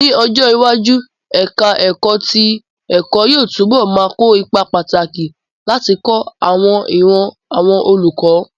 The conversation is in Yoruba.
Ní ọjọ́ iwájú, ẹ̀ká ẹ̀kọ́ tí ẹ̀kọ́ yóò túbọ̀ ma kó ipa pàtàkì láti kọ́ àwọn ìran àwọn olùkọ́